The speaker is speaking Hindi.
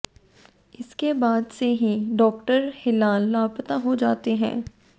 इसके बाद से ही डॉक्टर हिलाल लापता हो जाते हैं